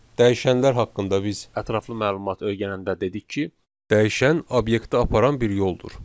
Dəyişənlər haqqında biz ətraflı məlumat öyrənəndə dedik ki, dəyişən obyektə aparan bir yoldur.